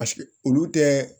Paseke olu tɛ